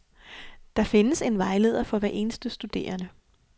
Der findes en vejleder for hver eneste studerende.